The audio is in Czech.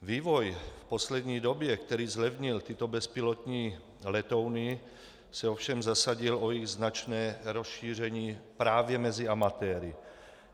Vývoj v poslední době, který zlevnil tyto bezpilotní letouny, se ovšem zasadil o jejich značné rozšíření právě mezi amatéry.